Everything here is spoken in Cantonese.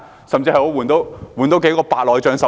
甚至可進行多少次白內障手術？